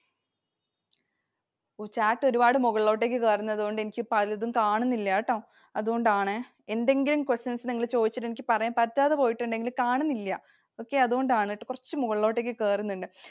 Chat ഒരുപാട് മുകളിലോട്ടു കേറുന്നത് കൊണ്ട് എനിക്ക് പലതും കാണുന്നില്ലാട്ടോ. അതുകൊണ്ടാണേ. എന്തെങ്കിലും questions നിങ്ങൾ ചോദിച്ചിട്ടു എനിക്ക് പറയാൻ പറ്റാതെ പോയിട്ടുണ്ടെങ്കിൽ, കാണുന്നില്ല. Okay അതുകൊണ്ടാണുട്ടോ. കുറച്ചു മുകളിലോട്ടു കേറുന്നുണ്ട്.